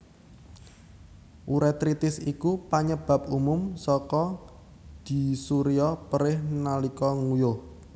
Urétritis iku panyebab umum saka dysuria perih nalika nguyuh